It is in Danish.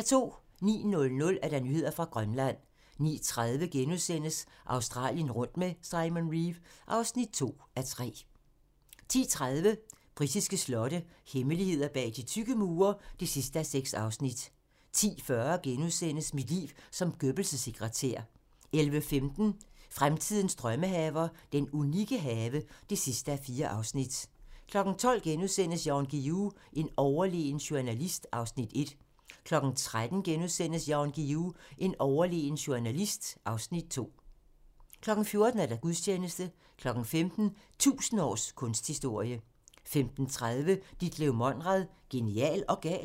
09:00: Nyheder fra Grønland 09:30: Australien rundt med Simon Reeve (2:3)* 10:30: Britiske slotte - hemmeligheder bag de tykke mure (6:6) 10:40: Mit liv som Goebbels' sekretær * 11:15: Fremtidens drømmehaver - den unikke have (4:4) 12:00: Jan Guillou - en overlegen journalist (Afs. 1)* 13:00: Jan Guillou - en overlegen journalist (Afs. 2)* 14:00: Gudstjeneste 15:00: 1000 års kunsthistorie 15:30: Ditlev Monrad - genial og gal?